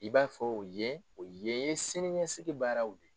I b'a fɔ u ye, ko yen ye siniɲɛsigi baaraw ye.